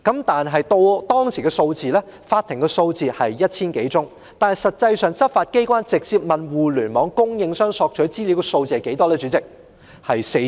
當時法庭接獲的相關申請是 1,000 多宗，但代理主席，執法機關實際上直接向互聯網供應商索取資料的個案有多少？